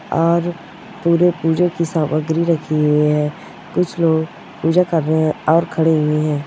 और पुरे पूजा की सामग्री रखी हुई है कुछ लोग पूजा कर रहे है और खड़े हुए है।